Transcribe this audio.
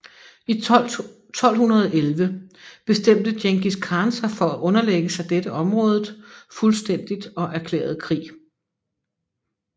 I 1211 bestemte Djengis Khan sig for at underlægge sig dette området fuldstændig og erklærede krig